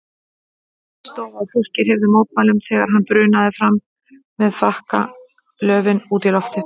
Full stofa af fólki hreyfði mótmælum þegar hann brunaði fram með frakkalöfin út í loftið.